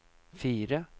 fire